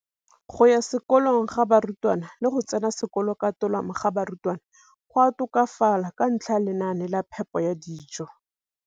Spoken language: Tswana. Kolong ga barutwana le go tsena sekolo ka tolamo ga barutwana go a tokafala ka ntlha ya lenaane la phepo ya dijo.